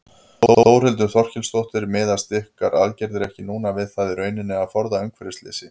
Þórhildur Þorkelsdóttir: Miðast ykkar aðgerðir ekki núna við það í rauninni að forða umhverfisslysi?